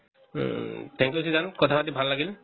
thank you Srijan কথা পাত ভাল লাগিল